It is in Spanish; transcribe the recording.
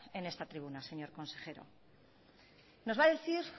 en esta tribuna señor consejero nos va a decir